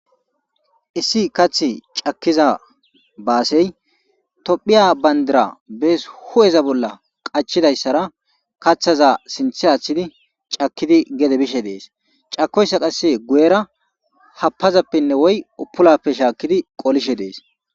issi katha cakkiza baasey tophiya bandira bees hu'eza bolla qachidayssara kaththaza sinthe aththidi cakkidi gede bishe dees cakoyssa qasse guyera happazappenne woy uppulappe shaakkidi qolishe dees